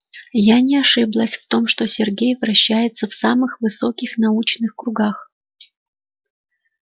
я не ошиблась в том что сергей вращается в самых высоких научных кругах